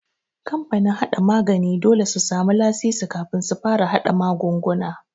Kamfanin haɗa magani dole su samu lasisi kafin su fara haɗa magunguna.